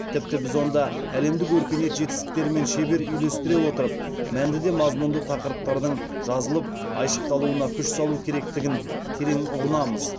тіпті біз онда әлемдік өркениет жетістіктерімен шебер үйлестіре отырып мәнді де мазмұнды тақырыптардың жазылып айшықталуына күш салу керектігін терең ұғынамыз